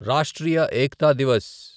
Rashtriya Ekta Divas